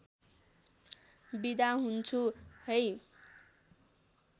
बिदा हुन्छु है